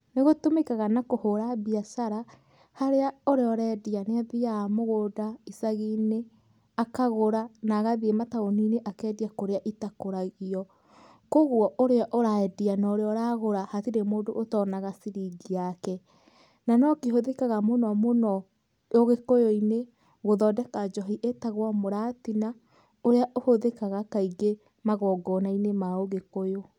Nĩ gĩtũmikaga na kũhũra mbiacara, harĩa ũrĩa ũrendia nĩ athiaga mũgũnda icagi-inĩ, akagũra na agathiĩ mataũni-inĩ akendia kũrĩa itakũragio. Koguo ũrĩa ũrendia na ũrĩa ũragũra hatiri mũndũ ũtonaga ciringĩ yake. Na no kĩhũthĩkaga mũno mũno ũgĩkũyũ-inĩ gũthondeka njohi ĩtagwo mũratina, ũrĩa ũhũthĩkaga kaingĩ magongona-inĩ ma ũgĩkũyũ.